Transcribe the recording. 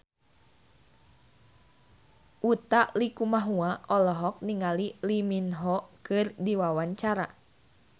Utha Likumahua olohok ningali Lee Min Ho keur diwawancara